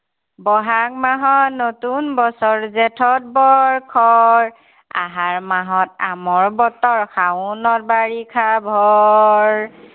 বহাগ মাহত নতুন বছৰ, জেঠত বৰ খৰ। আহাৰ মাহত আমৰ বতৰ, শাওণত বাৰিষাৰ ভৰ।